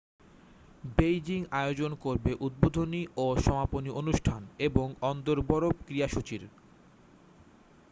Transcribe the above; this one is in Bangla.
বেইজিং আয়োজন করবে উদ্বোধনী ও সমাপনী অনুষ্ঠান এবং অন্দর বরফ ক্রীড়াসূচির